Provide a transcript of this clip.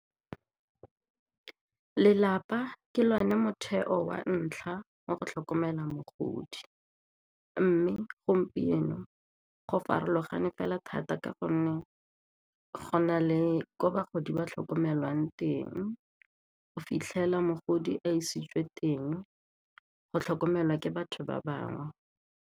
Lelapa ke lone motheo wa ntlha wa go tlhokomela mogodi mme gompieno go farologane fela thata gonne go na le gore bagodi ba tlhokomelwang teng o fitlhela mogodi a isitswe teng go tlhokomelwa ke batho ba bangwe.